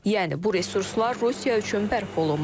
Yəni bu resurslar Rusiya üçün bərpa olunmazdı.